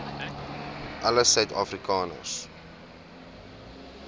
alle suid afrikaners